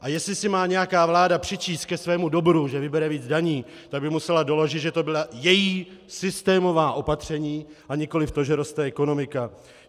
A jestli si má nějaká vláda přičíst ke svému dobru, že vybere víc daní, tak by musela doložit, že to byla její systémová opatření a nikoliv to, že roste ekonomika.